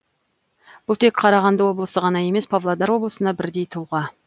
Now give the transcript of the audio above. бұл тек қарағанды облысы ғана емес павлодар облысына бірдей тұлға